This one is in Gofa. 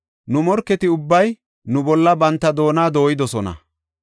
Nu morketi ubbay nu bolla banta doona dooyidosona.